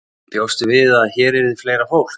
Bjóstu við að hér yrði fleira fólk?